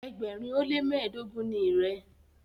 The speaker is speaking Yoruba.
ẹgbẹrin o le mẹdogun ní rẹ.